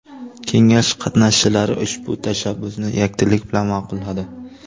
Kengash qatnashchilari ushbu tashabbusni yakdillik bilan ma’qulladi.